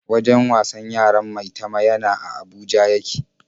Wajen wasan yaran Maitama yana a Abuja ya ke.